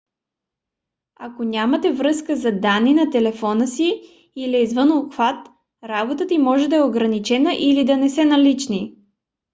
ако нямате връзка за данни на телефона си или е извън обхват работата им може да е ограничена или да не са налични